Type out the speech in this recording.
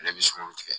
Ale bɛ sunkuru tigɛ